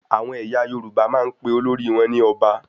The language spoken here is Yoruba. Àwọn ẹyà Yorùbá máa n pe olórí wọn ní Ọba